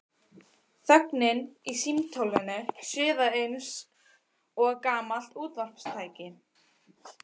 Þögnin í símtólinu suðaði eins og gamalt útvarpstæki.